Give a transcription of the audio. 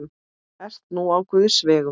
Ert nú á guðs vegum.